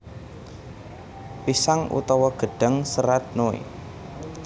Pisang utawa gedhang serat noe